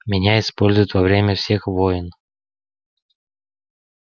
меня используют во время всех войн